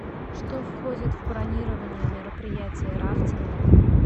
что входит в бронирование мероприятия рафтинга